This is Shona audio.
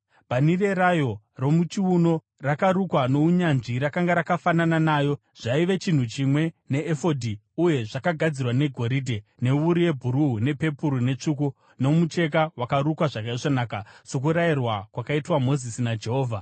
Bhanhire rayo romuchiuno rakarukwa nounyanzvi rakanga rakafanana nayo, zvaive chinhu chimwe neefodhi uye zvakagadzirwa negoridhe, newuru yebhuruu, nepepuru netsvuku nomucheka wakarukwa zvakaisvonaka, sokurayirwa kwakaitwa Mozisi naJehovha.